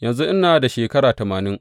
Yanzu ina da shekara tamanin.